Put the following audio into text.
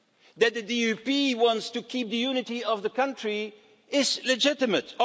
That the DUP wants to keep the unity of the country is legitimate.